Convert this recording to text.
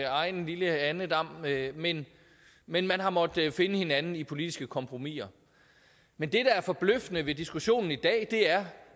egen lille andedam men men man har måttet finde hinanden i politiske kompromiser men det der er forbløffende ved diskussionen i dag er